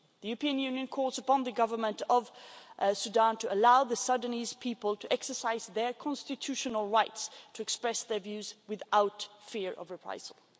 The European Union calls upon the Government of Sudan to allow the Sudanese people to exercise their constitutional right to express their views without fear of reprisal.